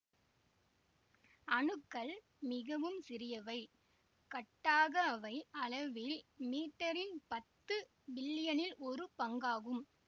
அணுக்கள் மிகவும் சிறியவை கட்டாக அவை அளவில் மீட்டரின் பத்து பில்லியனில் ஒரு பங்காகும்